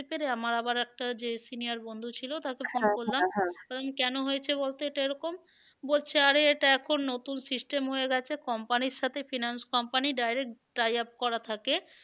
পেরে আমার আবার একটা যে senior বন্ধু ছিল তাকে কারণ কেন হয়েছে বলতো এটা এরকম? বলছে আরে এটা এখন নতুন system হয়ে গেছে company র সাথে finance company direct tie up করা থাকে।